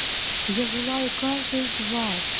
я желаю каждой из вас